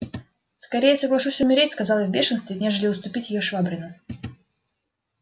скорее соглашусь умереть сказал я в бешенстве нежели уступить её швабрину